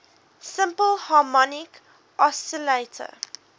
simple harmonic oscillator